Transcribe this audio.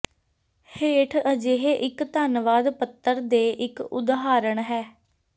ਹੇਠ ਅਜਿਹੇ ਇੱਕ ਧੰਨਵਾਦ ਪੱਤਰ ਦੇ ਇੱਕ ਉਦਾਹਰਨ ਹੈ